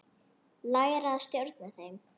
Læra að stjórna þeim.